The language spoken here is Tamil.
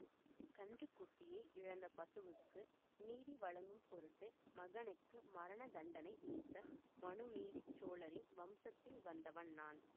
கன்று குட்டியை இழந்த பசுவுக்கு நீதி வழங்கும் பொருட்டு மகனுக்கு மரண தண்டனை விதித்த மனுநீதி சோழரின் வம்சத்தில் வந்தவன் நான்